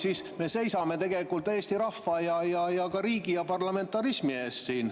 … siis me seisame tegelikult siin Eesti rahva ja riigi ja parlamentarismi eest.